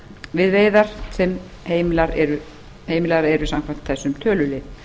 við veiðar sem heimilar eru samkvæmt þessum tölulið